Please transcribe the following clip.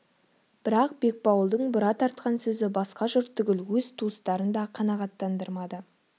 бірақ бекбауылдың бұра тартқан сөзі басқа жұрт түгіл өз туыстарын да қанағаттандырмады